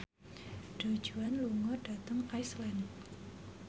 Du Juan lunga dhateng Iceland